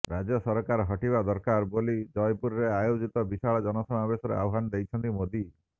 ରାଜ୍ୟ ସରକାର ହଟିବା ଦରକାର ବୋଲି ଜୟପୁରରେ ଆୟୋଜିତ ବିଶାଳ ଜନସମାବେଶରେ ଆହ୍ୱାନ ଦେଇଛନ୍ତି ମୋଦି